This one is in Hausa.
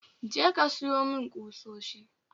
Je ka siyo mun kusoshi